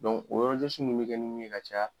o bɛ kɛ ni mun ye ka caya.